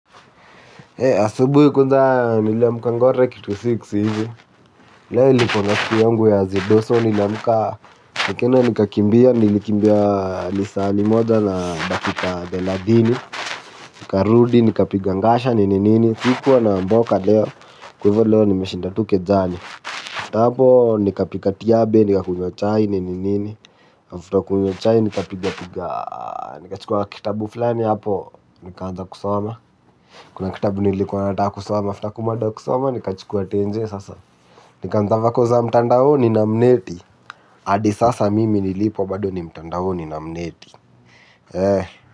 Asubuhi kwanza niliamka ngware kitu six hivi. Leo ilikuwa siku yangu ya azidoso niliamka nikaenda nikakimbia nilikimbia lisaa limoja na dakika thelathini. Nikarudi nikapiga ngasha nini nini sikuwa na mboka leo. Kwa hivo leo nimeshinda tu kejani hapo nikapika tiabe nikakunywa chai nini nini After kunywa chai nikapiga nikachukua kitabu fulani hapo. Nikaanza kusoma. Kuna kitabu nilikuwa nataka kusoma after kumada kusoma nikachukua tenje sasa. Nikaanza vako za mtandaoni na mneti hadi sasa mimi nilipo bado ni mtandaoni na mneti. Eh.